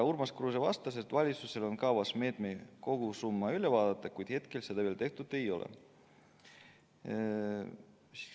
Urmas Kruuse vastas, et valitsusel on kavas meetme kogusumma üle vaadata, kuid hetkel seda veel tehtud ei ole.